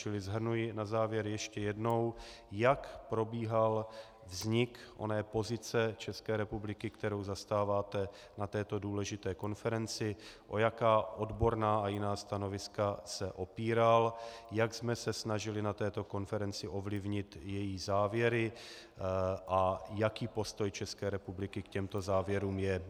Čili shrnuji na závěr ještě jednou: Jak probíhal vznik oné pozice České republiky, kterou zastáváte na této důležité konferenci, o jaká odborná a jiná stanoviska se opíral, jak jsme se snažili na této konferenci ovlivnit její závěry a jaký postoj České republiky k těmto závěrům je.